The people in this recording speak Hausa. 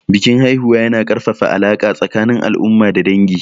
Bikin haihuwa yana ƙarfafa alaƙa tsakanin al'umma da dangi.